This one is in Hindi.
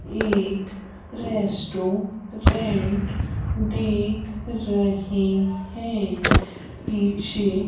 एक रेस्टोरेंट दिख रहे हैं पीछे--